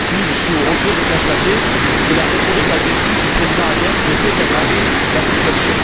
Aujourd'hui, je suis au regret de constater que la rhétorique agressive du président Aliev ne fait qu'aggraver la situation.